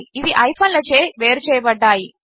ఇవి హైఫన్లచే వేరుచేయబడ్డాయి